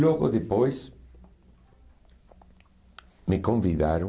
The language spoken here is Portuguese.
Logo depois, me convidaram.